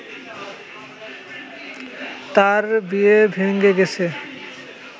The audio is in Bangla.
তার বিয়ে ভেঙ্গে গেছে